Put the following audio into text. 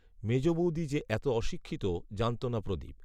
মেজ বৌদি যে এত অশিক্ষিত জানত না প্রদীপ